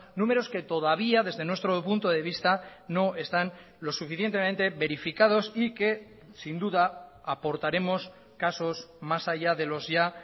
números que todavía desde nuestro punto devista no están lo suficientemente verificados y que sin duda aportaremos casos más allá de los ya